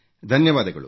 ಧನ್ಯವಾದಗಳು